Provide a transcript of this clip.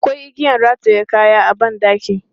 Akwai igiyan rataye kaya a ban ɗaki.